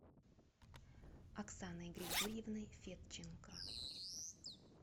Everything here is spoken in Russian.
оксаной григорьевной федченко